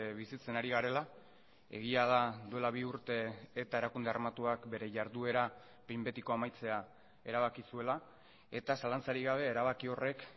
bizitzen ari garela egia da duela bi urte eta erakunde armatuak bere jarduera behin betiko amaitzea erabaki zuela eta zalantzarik gabe erabaki horrek